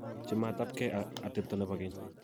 Chametapkei ak atepto nebo keny